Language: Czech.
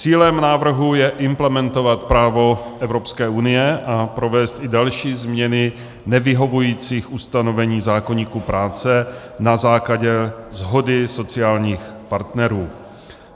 Cílem návrhu je implementovat právo Evropské unie a provést i další změny nevyhovujících ustanovení zákoníku práce na základě shody sociálních partnerů.